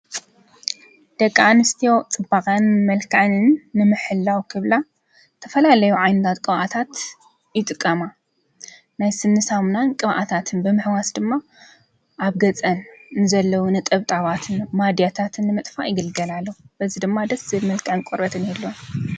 ደቂ ኣንስትዮ ፅባቐኣንን መልክዐንን ንምሕላው ክብላ ዝተፈላለዩ ዓይነታት ቅብኣታት ይጥቀማ። ናይ ስኒ ሳሙናን ቅብኣታትን ብምሕዋስ ድማ ኣብ ገፀን ንዘለዉ ነጠብጣባትን ማድያታትን ንምጥፋእ ይግልገላሉ። በዚ ድማ ደስ ዝብል መልክዕን ቆርበትን ይህልወን።